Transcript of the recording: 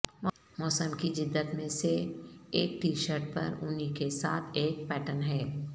موسم کی جدت میں سے ایک ٹی شرٹ پر اونی کے ساتھ ایک پیٹرن ہے